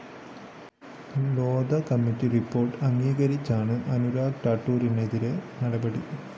Lodha committee report അംഗീകരിച്ചാണ് അനുരാഗ് ഠാക്കൂറിനെതിരായ നടപടി